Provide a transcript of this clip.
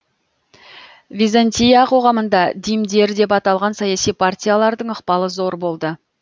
византия қоғамында димдер деп аталған саяси партиялардың ықпалы зор болды